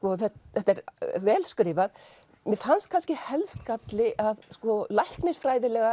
þetta er vel skrifað mér fannst kannski helst galli að læknisfræðilega